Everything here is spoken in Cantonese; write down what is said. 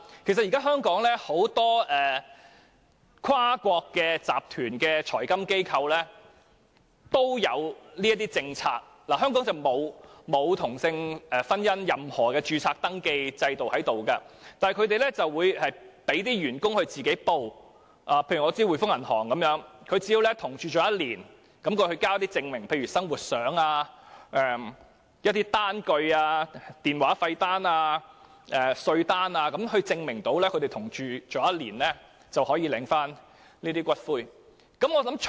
其實現時香港有很多跨國集團的財金機構亦設有這些政策，雖然香港沒有任何同性婚姻的登記制度，但它們會讓員工自行申報，舉例而言，我知道滙豐銀行的員工只要與同伴已同住1年，並提供證明，例如生活照片、電話費單、稅單等，證明已經同住1年，便符合領取福利的資格。